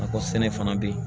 Nakɔ sɛnɛ fana be ye